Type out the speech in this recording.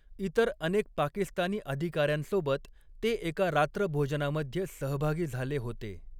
इतर अनेक पाकिस्तानी अधिकाऱ्यांसोबत ते एका रात्रभोजनामध्ये सहभागी झाले होते.